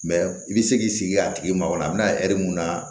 i bɛ se k'i sigi a tigi ma wara bɛ na mun na